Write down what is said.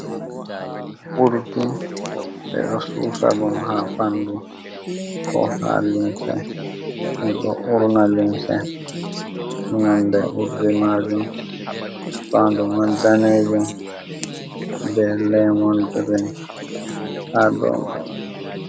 Urdi ɓe ɗo susa ɗum ha ɓandu, ko ha limse ɗo urna limse, nolde urdi majum fandu man danejum, be lamon girin ha do mai.